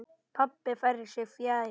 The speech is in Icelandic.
Pabbi færir sig fjær.